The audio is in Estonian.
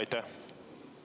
Aitäh!